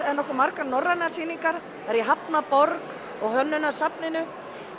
eru nokkuð margar norrænar sýningar það er í hafnarborg og